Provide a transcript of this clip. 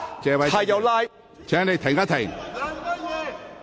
謝偉俊議員，請稍停。